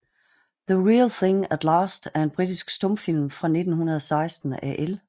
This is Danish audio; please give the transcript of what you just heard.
The Real Thing at Last er en britisk stumfilm fra 1916 af L